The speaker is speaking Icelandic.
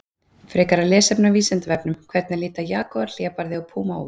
Frekara lesefni á Vísindavefnum: Hvernig líta jagúar, hlébarði og púma út?